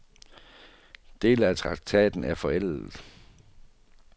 Dele af traktaten er forældet.